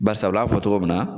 Basa olu ya fɔ cogo mun na